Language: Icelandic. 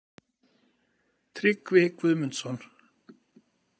Tryggvi Guðmundsson.